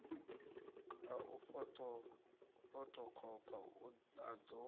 a u fothokhopha a ḓo